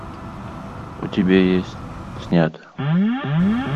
у тебя есть снято